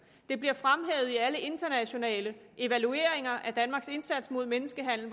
det bliver fremhævet i alle internationale evalueringer danmarks indsats mod menneskehandel